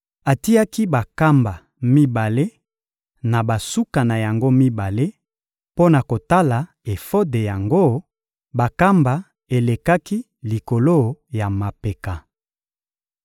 Atiaki bankamba mibale na basuka na yango mibale mpo na kolata efode yango; bankamba elekaki likolo ya mapeka.